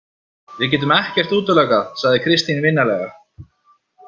Við getum ekkert útilokað, sagði Kristín vinalega.